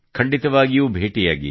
ಖಂಡಿತವಾಗಿಯೂ ಭೇಟಿಯಾಗಿ